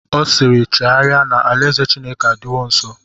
Ọ siiri, chegharịa na alaeze Chineke adịwo nsọ!